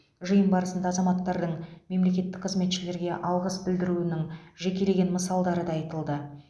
жиын барысында азаматтардың мемлекеттік қызметшілерге алғыс білдіруінің жекелеген мысалдары да айтылды